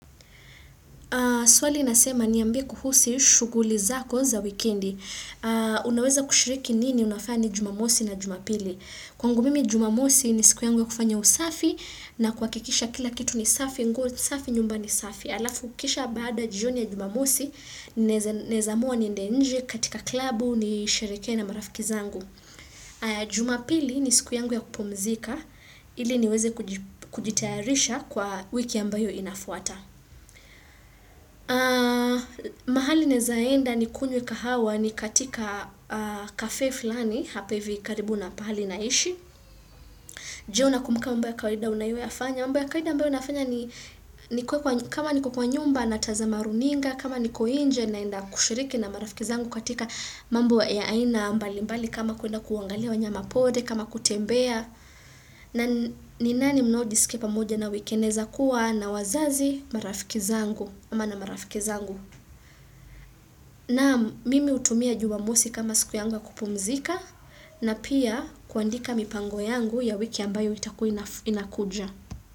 Swali inasema niambie kuhusu shughuli zako za wikendi. Unaweza kushiriki nini unafanya nini jumamosi na jumapili? Kwangu mimi jumamosi ni siku yangu ya kufanya usafi na kuhakikisha kila kitu ni safi, nguo safi nyumba ni safi. Alafu kisha baada jioni ya jumamosi, naezaamua niende nje katika klabu nisherekw na marafiki zangu. Jumapili ni siku yangu ya kupumzika, ili niweze kujitayarisha kwa wiki ambayo inafuata. Na mahali naeza enda nikunywe kahawa ni katika kafe fulani hapa hivi karibu na pahali naishi. Je unakumbuka mambo ya kawaida unayoyafanya. Mambo ya kawaida ambayo nafanya ni kama niko kwa nyumba natazama runinga. Kama niko nje naenda kushiriki na marafiki zangu katika mambo ya aina mbalimbali. Kama kuenda kuangalia wanyama pori, kama kutembea. Na ni nani mnaojiskia pamoja nao wikendi naweza kuwa na wazazi marafiki zangu. Ama na marafiki zangu. Nam mimi hutumia jumamosi kama siku yangu ya kupumzika na pia kuandika mipango yangu ya wiki ambayo itakuwa inakuja.